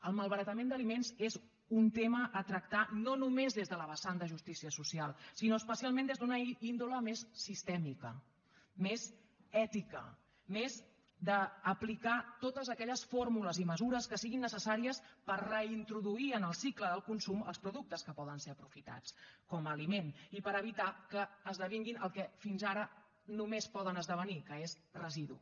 el malbaratament d’aliments és un tema a tractar no només des de la vessant de justícia social sinó especialment des d’una índole més sistèmica més ètica més d’aplicar totes aquelles fórmules i mesures que siguin necessàries per reintroduir en el cicle del consum els productes que poden ser aprofitats com a aliment i per evitar que esdevinguin el que fins ara només poden esdevenir que és residu